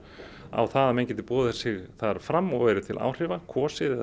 á það að menn geti boðið sig þar fram og verið til áhrifa kosið og